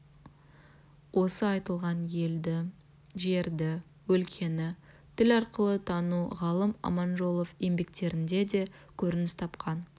осы айтылған елді жерді өлкені тіл арқылы тану ғалым аманжолов еңбектерінде де көрініс тапқан